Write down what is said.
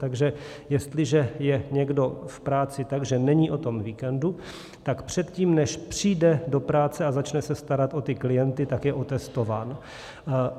Takže jestliže je někdo v práci tak, že není o tom víkendu, tak předtím, než přijde do práce a začne se starat o ty klienty, tak je otestován.